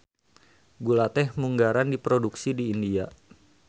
Gula teh munggaran diproduksi di India.